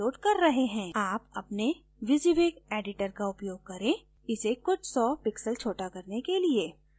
आप अपने wysiwyg editor का उपयोग करें इसे कुछ you pixels छोटा करने के लिए